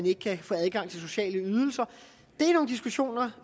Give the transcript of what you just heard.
ikke kan få adgang til sociale ydelser det er nogle diskussioner